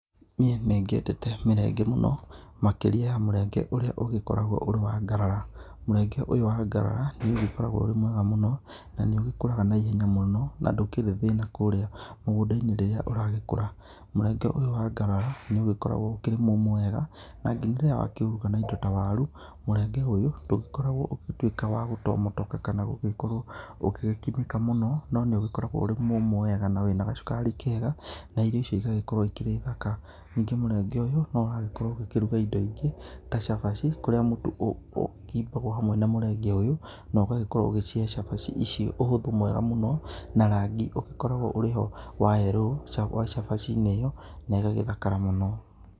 Niĩ nĩ ngĩendete mĩrenge mũno makĩrĩa mũrenge ũrĩa ũgĩkoragwo ũrĩ wa ngarara ,mũrenge ũyũ wa ngarara nĩ ũgĩkoragwo ũrĩ mwega mũno na nĩ ũgĩkũraga naihenya mũno na ndũkĩrĩ thĩna kũrĩa mũgũnda-inĩ rĩrĩa ũragĩkũra mũrenge ũyũ wa ngarara nĩ ũgĩkoragwo ũkĩrĩ mũmũ wega na nginya rĩrĩa wakĩruga na indo ta waru mũrenge ũyũ ndũgĩkoragwo ũgũtuĩka wa gũtomotoka kana gũgĩkorwo ũgĩgĩkimĩka mũno no nĩ ũgĩkoragwo ũrĩ mũmũ wega na wĩna gacukari kega na irio icio igagĩkorwo ĩkĩrĩ thaka, ningĩ mũrenge ũyũ no ũrakorwo ũkĩruga indo ingĩ ta cabaci kũrĩa mũtu ũkĩmbagwo hamwe na mũrenge ũyũ na ũgagĩkorwo ũgĩcĩhe cabaci icio ũhũthũ mwega mũno na rangi ũgĩkoragwo ũrĩ wa yerũ wa cabaci-inĩ ĩyo na ĩgagĩthakara mũno.